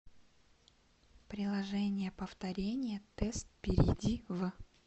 приложение повторение тест перейди в